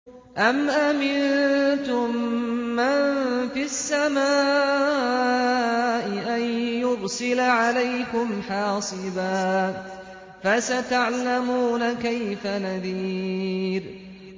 أَمْ أَمِنتُم مَّن فِي السَّمَاءِ أَن يُرْسِلَ عَلَيْكُمْ حَاصِبًا ۖ فَسَتَعْلَمُونَ كَيْفَ نَذِيرِ